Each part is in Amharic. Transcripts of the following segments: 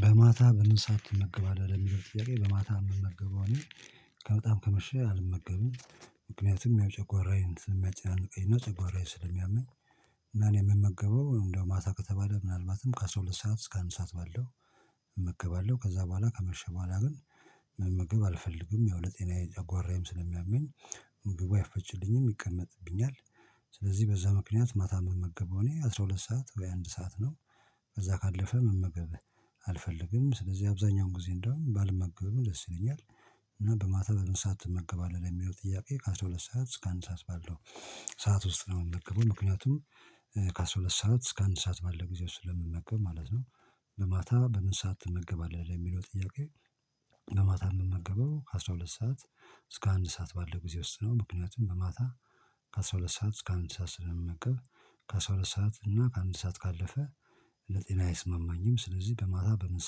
በማታ በምን ሰዓት ትመገባለን ለሚለው ጥያቄ? በማታ እምመገበው እኔ በጣም ከመሸ አልመገበም ምክንያቱም ጨጎራዬን ስለሚያጨንቀኝ እና ጨጎራዬን ስለሚያመኝ። እና እኔ የምመገበው እንደው ማታ ከተባለ ምናልባትም ከአሥራ ሁለት ሰዓት እስከ አንድ ሰዓት ባለው። እመገባለው ከዛ በኋላ ከመሸ በኋላ ግን መመገብ አልፈልግም ያው ለጤናዬ የጓራዬም ስለሚያመኝ። ምግቡ አይፈጭልኝም ይቀመጥብኛል። ስለዚህ በዛ ምክንያት ማታ መመገበው እኔ አስራ ሁለት ሰዓት ወይ አንድ ሰዓት ነው። ከዛ ካለፈ መመገብ አልፈልግም ስለዚህ አብዛኛውን ጊዜ እንደውም ባልመገብም ደስ ይለኛል። እና በማታ በምን ሰዓት ትመገባለህ ለሚሆን ጥያቄ? ከአሥራ ሁለት ሰዓት እስከ አንድ ሰዓት ባለው ሰዓት ውስጥ ነው የምንመገበው። ምክንያቱም ከአሥራ ሁለት ሰዓት እስከ አንድ ሰዓት ባለው ጊዜ ውስጥ ስለምመገብ ማለት ነው። በማታ በምን ሰዓት ትመገባለህ የሚለው ጥያቄ? በማታ የምመገበው ከአሥራ ሁለት ሰዓት እስከ አንድ ሰዓት ባለው ጊዜ ውስጥ ነው። ምክንያቱም በማታ ከአሥራ ሁለት ሰዓት እስከ አንድ ሰዓት ስለምመገብ። ከአስራ ሁለት ሰዓት እና ከአንድ ሰዓት ካለፈ ለጤና አይስማማኝም። ስለዚህ በማታ በምን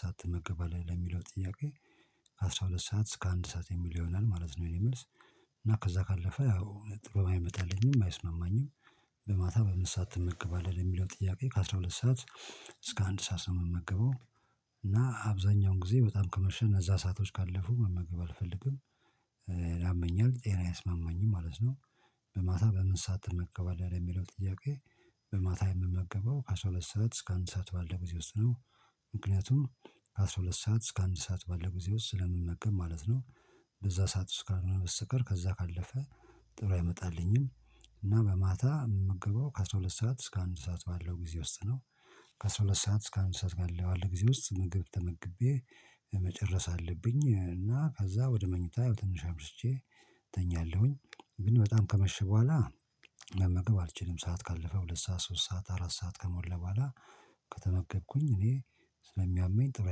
ሰዓት ትመገባለህ ለሚለው ጥያቄ? ከአሥራ ሁለት ሰዓት እስከ አንድ ሰዓት የሚል ይሆናል ማለት ነው። የኔ መልስ እና ከዛ ካለፈ ያው ጥሩ አይመጣልኝም አይስማማኝም። በማታ በምን ሰዓት ትመገባለህ የሚለው ጥያቄ? ከአሥራ ሁለት ሰዓት እስከ አንድ ሰዓት ነው የምመገበው። እና አብዛኛውን ጊዜ በጣም ከመሸና እዛ ሰአቶች ካለፉ መመገብ አልፈልግም። ያመኛል ጤና አይስማማኝም ማለት ነው። በማታ በምን ሰዓት ትመገባለህ ለሚለው ጥያቄ? በማታ የምመገበው ከአሥራ ሁለት ሰዓት እስከ አንድ ሰዓት ባለው ጊዜ ውስጥ ነው። ምክንያቱም ከአሥራ ሁለት ሰዓት እስከ አንድ ሰዓት ባለው ጊዜ ውስጥ ስለምመገብ ማለት ነው። በዛ ሰዓት ውስጥ ካልሆነ በስተቀር ከዛ ካለፈ ጥሩ አይመጣልኝም። እና በማታ የምገባው ከአሥራ ሁለት ሰዓት እስከ አንድ ሰዓት ባለው ጊዜ ውስጥ ነው። ከአሥራ ሁለት ሰዓት እስከ አንድ ሰዓት ባለው ጊዜ ውስጥ ምግብ ተመግቤ። መጨረስ አለብኝ እና ከዛ ወደ መኝታ ትንሽ አምሽቼ እተኛለሁኝ። ግን በጣም ከመሸ በኋላ። መመገብ አልችልም ሰዓት ካለፈ ሁለት ሰዓት ሶስት ሰዓት አራት ሰዓት ከሞለ በኋላ። ከተመገብኩኝ እኔ ስለሚያመኝ ጥሩ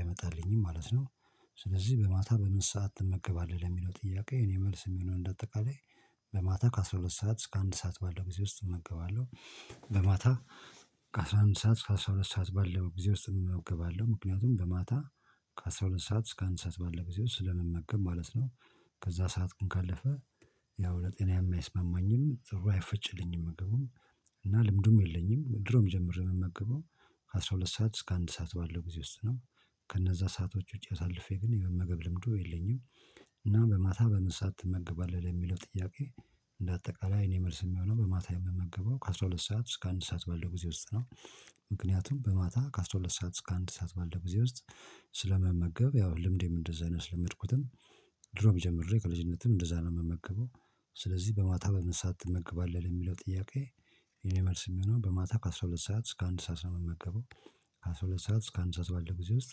አይመጣልኝም ማለት ነው። ስለዚህ በማታ በምን ሰዓት ትመገባለህ ለሚለው ጥያቄ? የኔ መልስ የሚሆነው እንደ አጠቃላይ በማታ ከአሥራ ሁለት ሰዓት እስከ አንድ ሰዓት ባለው ጊዜ ውስጥ እመገባለሁ። በማታ ከአሥራ አንድ ሰዓት እስከ አስራ ሁለት ሰዓት ባለው ጊዜ ውስጥ እመገባለሁ። ምክንያቱም በማታ ከአሥራ ሁለት ሰዓት እስከ አንድ ሰዓት ባለው ጊዜ ውስጥ ስለመመገብ ማለት ነው። ከዛ ሰዓት ግን ካለፈ። ያው ለጤናዬ የማይስማማኝም ጥሩ አይፈጭልኝም ምግቡም። እና ልምዱም የለኝም ድሮም ጀምሮ የምገባው። ከአሥራ ሁለት ሰዓት እስከ አንድ ሰዓት ባለው ጊዜ ውስጥ ነው። ከነዛ ሰአቶች ውጪ አሳልፌ ግን የመመገብ ልምዱ የለኝም። እና በማታ በመን ሰዓት ትመግባለህ ለሚለው ጥያቄ? እንደ አጠቃላይ እኔ መልስ የሚሆነው በማታ የምመገበው ከአሥራ ሁለት ሰዓት እስከ አንድ ሰዓት ባለው ጊዜ ውስጥ ነው። ምክንያቱም በማታ ከአስራ ሁለት ሰዓት እስከ አንድ ሰዓት ባለው ጊዜ ውስጥ ስለምመገብ ያው ልምዴም እንደዛ ነው ያስለመድኩትም። ድሮም ጀምሬ ከልጅነትም እንደዛ ነው የምመገበው። ስለዚህ በማታ በምን በአት ትመገባለህ የሚለው ጥያቄ? የኔ መልስ የሚሆነው በማታ ከአሥራ ሁለት ሰዓት እስከ አንድ ሰዓት ነው የምመገበው። ከአሥራ ሁለት ሰዓት እስከ አንድ ሰዓት ባለው ጊዜ ውስጥ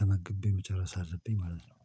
ተመግቤ መጨረስ አለብኝ ማለት ነው